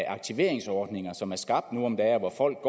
aktiveringsordninger som er skabt nu om dage hvor folk